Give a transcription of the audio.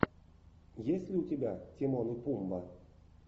есть ли у тебя тимон и пумба